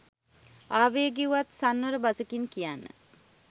ආවේගය වුවත් සංවර බසකින් කියන්න